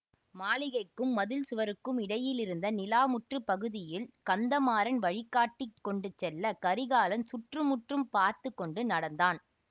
மாளிகைக்கும் மதிள் சுவருக்கும் இடையிலிருந்த நிலாமுற்றப் பகுதியில் கந்தமாறன் வழி காட்டிக் கொண்டு செல்ல கரிகாலன் சுற்றுமுற்றும் பார்த்து கொண்டு நடந்தான்